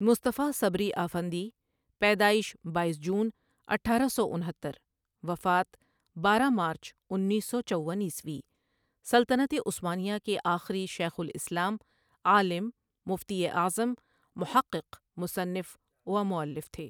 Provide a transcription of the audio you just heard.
مصطفی ٰصبری آفندی پیدائش بایس جون اٹھارہ سوانہتر وفات بارہ مارچ انیس سو چون عیسوی سلطنت عثمانیہ کے آخری شیخ الاسلام، عالم، مفتی اعظم، محقق، مصنف و مؤلف تھے